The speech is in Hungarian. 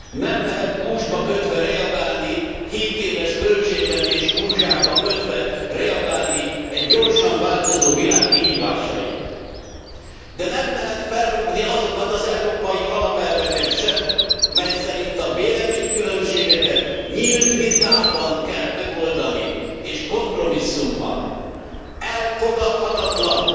Nem lehet gúzsba kötve reagálni, hétéves költségvetés gúzsába kötve reagálni egy gyorsan változó világ kihívásaira, de nem lehet felrúgni azokat az európai alapelveket sem, mely szerint a véleménykülönbségeket nyílt vitában kell megoldani és kompromisszummal. Elfogadhatatlan,